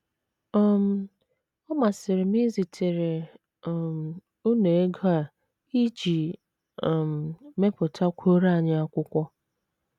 “ um Ọ masịrị m izitere um unu ego a iji um mepụtakwuoro anyị akwụkwọ.